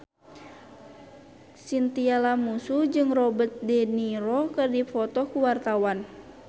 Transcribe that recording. Chintya Lamusu jeung Robert de Niro keur dipoto ku wartawan